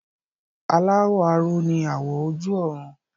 Aláwọ̀ aró ni àwọ̀ ojú ọ̀run